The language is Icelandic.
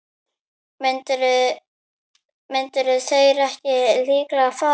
Myndu þeir ekki líka fara?